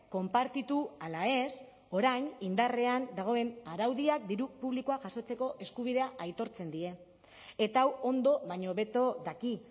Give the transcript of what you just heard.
konpartitu ala ez orain indarrean dagoen araudiak diru publikoa jasotzeko eskubidea aitortzen die eta hau ondo baino hobeto daki